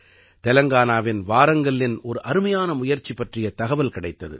தெலங்கானாவின் வாரங்கல்லின் ஒரு அருமையான முயற்சி பற்றிய தகவல் கிடைத்தது